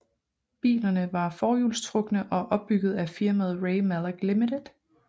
Bilerne var forhjulstrukne og opbygget af firmaet Ray Mallock Limited